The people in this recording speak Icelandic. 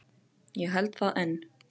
Ég held það enn.